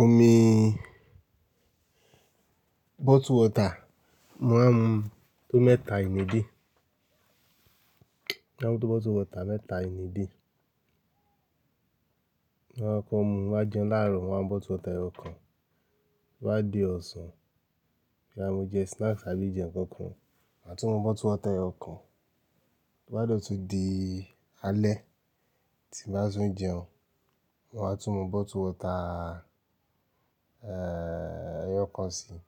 Omi bottled water, mo máa ń mu tó mẹ́ta ìn day. Máa ń mu tó bottled water mẹ́ta in a day. Máa kọ́ mu, wá jẹ láàárọ̀, wá bottled water ẹyọ kan. Wá dé ọ̀sán, bí a bá ń jẹ snacks àbí jẹ ǹkan kan, màá tún mu bottled water ẹyọ kan. Bí ó bá dọ̀tí di alẹ́, tí bá sún jẹun, mo máa tún mu bottled water, eeh, ẹyọ kan síi.